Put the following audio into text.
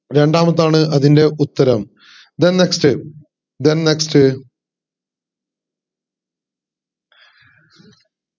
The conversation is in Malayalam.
രണ്ടാമത്തേതാണ് അതിൻറെ ഉത്തരം then next then next